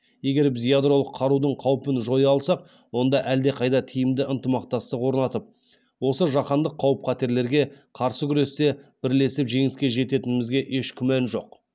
егер біз ядролық қарудың қаупін жоя алсақ онда әлдеқайда тиімді ынтымақтастық орнатып осы жаһандық қауіп қатерлерге қарсы күресте бірлесіп жеңіске жететінімізге еш күмән жоқ